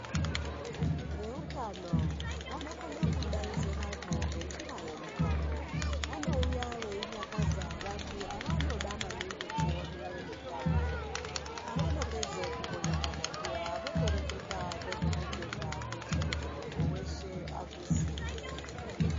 Veutano vanokona kudainzira nenjira yemutambo vanouya veinyakaza vanhu vanoda maningi kuone mitambo pavanoedza kumbonyakaza paya votoreketa nezveutano kuti munhu weshe azviziye